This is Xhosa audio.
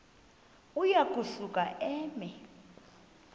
uya kusuka eme